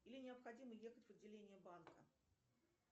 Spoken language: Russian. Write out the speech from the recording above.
или необходимо ехать в отделение банка